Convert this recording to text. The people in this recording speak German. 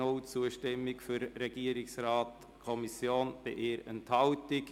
Es hat keine Stimmen für den Antrag Regierungsrat/FiKo gegeben, aber 1 Enthaltung.